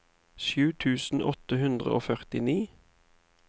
sju tusen åtte hundre og førtini